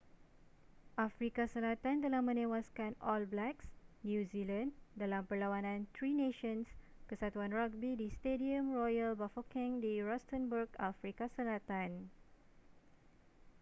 afrika selatan telah menewaskan all blacks new zealand dalam perlawanan tri nations kesatuan ragbi di stadium royal bafokeng di rustenburg afrika selatan